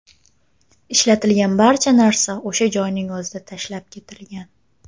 Ishlatilgan barcha narsa o‘sha joyning o‘zida tashlab ketilgan.